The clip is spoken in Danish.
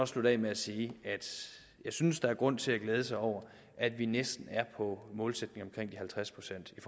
slutte af med at sige at jeg synes der er grund til at glæde sig over at vi næsten er på målsætningen på omkring de halvtreds procent i